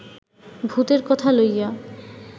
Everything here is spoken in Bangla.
ভূতের কথা লইয়া